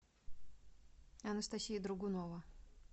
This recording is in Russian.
анастасия дрогунова